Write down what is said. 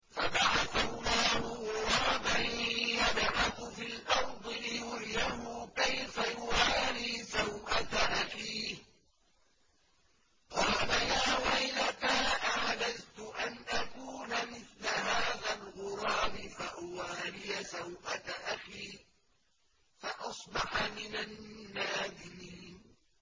فَبَعَثَ اللَّهُ غُرَابًا يَبْحَثُ فِي الْأَرْضِ لِيُرِيَهُ كَيْفَ يُوَارِي سَوْءَةَ أَخِيهِ ۚ قَالَ يَا وَيْلَتَا أَعَجَزْتُ أَنْ أَكُونَ مِثْلَ هَٰذَا الْغُرَابِ فَأُوَارِيَ سَوْءَةَ أَخِي ۖ فَأَصْبَحَ مِنَ النَّادِمِينَ